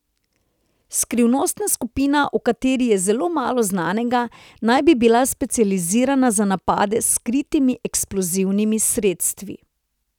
Skrivnostna skupina, o kateri je zelo malo znanega, naj bi bila specializirana za napade s skritimi eksplozivnimi sredstvi.